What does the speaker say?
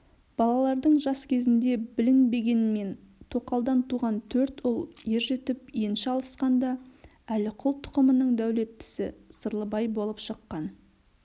балалардың жас кезінде білінбегенмен тоқалдан туған төрт ұл ержетіп енші алысқанда әліқұл тұқымының дәулеттісі сырлыбай болып шыққан